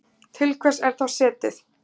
Til hvers er þá setið?